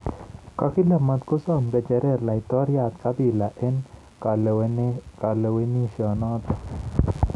Kakile matkosom ng'echeret laitoryat Kabila eng kalewenisyenoto